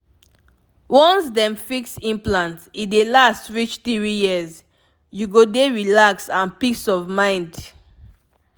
once dem fix implant e dey last reach 3yrs --u go dey relax and peace of mind